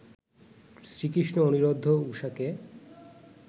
Shrikrishna Aniruddha ও ঊষাকে